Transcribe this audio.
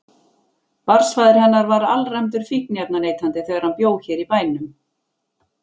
Barnsfaðir hennar var alræmdur fíkniefnaneytandi þegar hann bjó hér í bænum.